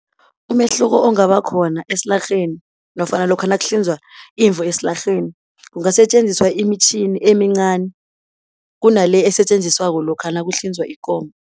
Umehluko ongaba khona esilarheni nofana lokha nakuhlinzwa imvu esilarheni, kungasetjenziswa imitjhini emincani kunale esetjenziswako lokha nakuhlinzwa ikomo.